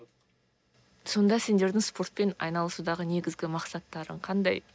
сонда сендердің спортпен айналысудағы негізгі мақсаттарың қандай